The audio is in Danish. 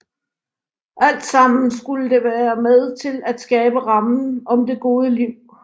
Alt sammen skulle det være med til at skabe rammen om det gode liv